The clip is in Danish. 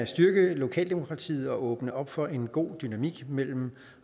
styrke lokaldemokratiet og åbne op for en god dynamik mellem